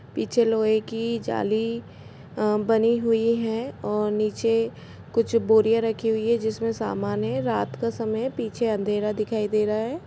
पीछे लोहे की जाली अ बनी हुई है और नीचे कुछ बोरियां रखी हुई है जिसमें सामान हे रात का समय पीछे अंधेरा दिखाई दे रहा है।